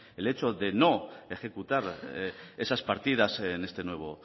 el hecho de ejecutar esas partidas en este nuevo